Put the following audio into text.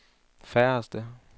færreste